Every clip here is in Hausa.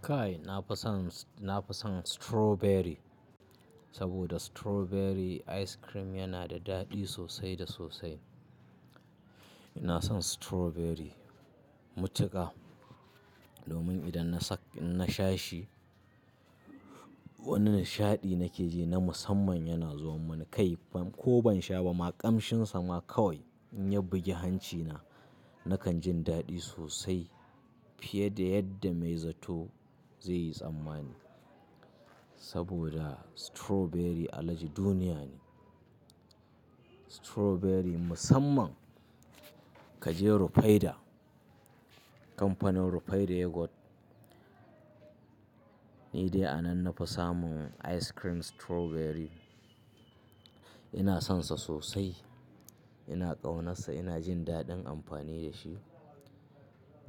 Kai, na fi son, na fi son strawberry saboda strawberry ice cream yana da daɗi sosai da sosai. Ina son strawberry matuƙa domin idan na sha shi, wani nishaɗi nake ji na musamman yana zuwa mun. Kai, ko ban sha ba ma, ƙamshinsa ma kawai in ya bugi hancina, nakan ji daɗi sosai fiye da yadda mai zato zai yi tsammani saboda strawberry alaji duniya ne. Strawberry musamman kaje Rufaidah, kamfanin Rufaidah Yogurt, ni dai a nan nafi samun ice cream strawberry. Ina sonsa sosai, ina ƙaunarsa, ina jin daɗin amfani da shi.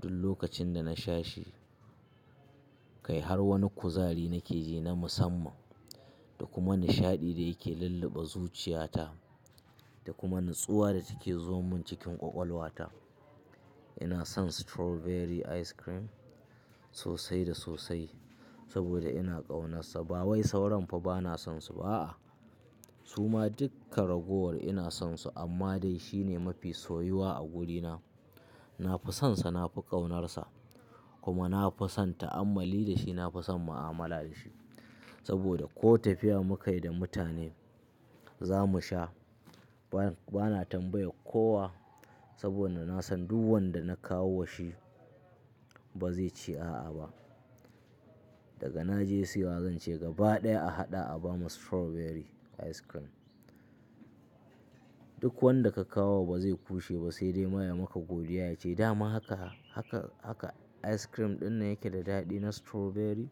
Duk lokacin da na sha shi, kai har wani kuzari nake ji na musamman da kuma nishaɗi da yake lulluɓa zuciyata da kuma nutsuwa da take zuwa mun cikin ƙwaƙwalwa ta. Ina son strawberry ice cream sosai da sosai saboda ina ƙaunarsa. Ba wai sauran fa bana sonsu ba a'a Su ma duka ragowa ina sonsu amma dai shi ne mafi soyuwa a guduna. Na fi sonsa, na fi ƙaunarsa kuma na fi son ta'ammali da shi, na fi son mu'amala da shi saboda ko tafiya muka yi da mutane, za mu sha. Bana tambaya kowa saboda nasan duk wanda na kawo wa shi ba zai ce a'a ba. Daga naje siya zan ce gaba ɗaya a haɗa a bani strawberry ice cream. Duk wanda ka kawo wa ba zai kushe ba sai dai ma ya maka godiya ya ce, "dama haka, ice cream ɗin nan yake da daɗi na strawberry?"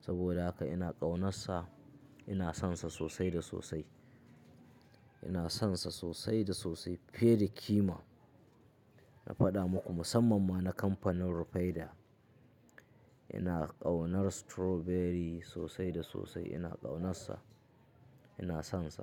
Saboda haka ina ƙaunarsa, ina sonsa sosai da sosai. Ina sonsa sosai da sosai fiye da kima. Na faɗa muku musamman ma na kamfanin Rufaidah. Ina ƙaunar strawberry sosai da sosai, ina ƙaunarsa, ina sonsa.